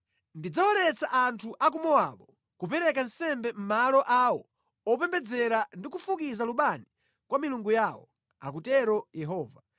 Ndidzawaletsa anthu a ku Mowabu kupereka nsembe mʼmalo awo opembedzera ndi kufukiza lubani kwa milungu yawo,” akutero Yehova.